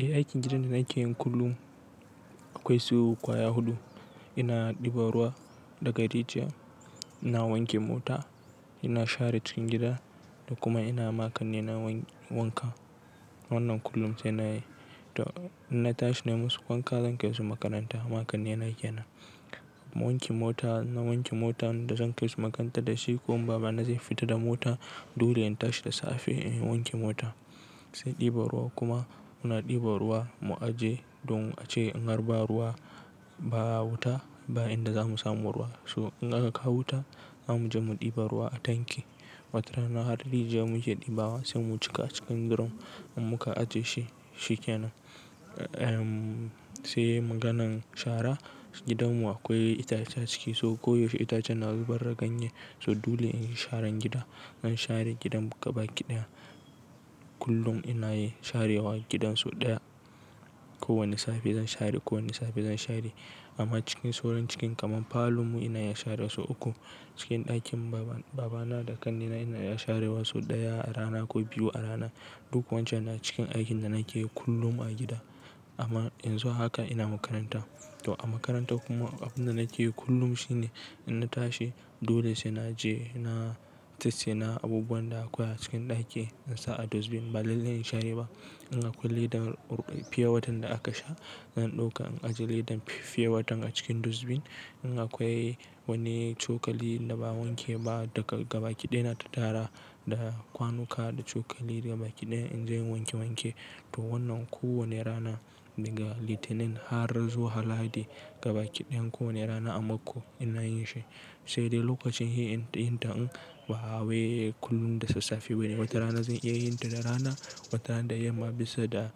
Eh aikin gidan da nake yin kullum akwai su kwaya huɗu. Ina ɗiba ruwa daga rijiya, ina wanke mota, ina share cikin gida da kuma ina makani na wanka. Wannan kullum sai na yi. To ina tashi na yi musu wanka zan kai su makaranta. Makani na yana. Na wanke mota, na wanke motan da zan kai su makaranta da shi ko baba na zai fita da mota. Dole in tashi da safe in wanke mota. Sai ɗiba ruwa kuma muna ɗiba ruwa mu aje don ace in harba ruwa ba wuta bayan da za mu samu ruwa. So in aka kawo wuta za mu je mu ɗiba ruwa a tanki. Wata rana har da rijiya mun je ɗibawa sai mu cika cikin drum muka ajiye shi, shi kenan. Ehmm sai maganan shara. Gidan mu akwai itace a ciki so ko yaushe itacen na zubar da ganye so dole in yi sharan gida. In share gidan gaba kiɗaya kullum ina yi sharewa gidan sau ɗaya. Ko wane safe zan share, kowane safe zan share. Amma cikin sauran cikin kamar falo mu ina ya share wasu uku. Cikin ɗakin baba na da kanina ina ya share wasu ɗaya a rana ko biyu a rana. Duk wancan na cikin aikin da nake yi kullum a gida. Amma in zo haka ina makaranta. To a makaranta kuma abin da nake yi kullum shine in na tashi dole sai na je na tace na abubuwan da akwai a cikin ɗaki in sa a dustbin. Ba lallai in share ba. In akwai leda fe watan da aka sha zan ɗauka in ajiye ledan fe watan a cikin dustbin. In akwai wani cokali da ba wanke ba daga gaba kiɗaya na tattara da kwanuka da cokali gaba kiɗaya in je in wanke wanke. To wannan kowane rana daga litinin har zuwa haladi gaba kiɗayan kowane rana a mako ina yin shi. Sai dai lokacin hiya in tayi ta in ba hawaye kullum da sassafe bane. Wata rana zan iya yin ta da rana, wata rana da yamma bisa da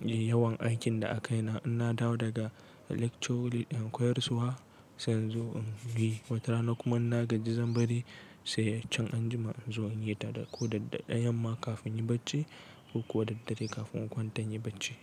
yawan aikin da a kai na. In na dawo daga lectures in koyarswa sai in zo in yi. Wata rana kuma na gaji zan bari sai can an jima in zo in yi ta da ko dadaddare yamma kafin in yi bacci ko kuwa dadaddare kafin kwantan yi bacci.